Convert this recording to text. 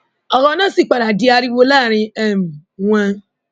ọrọ náà sì padà di ariwo láàrin um wọn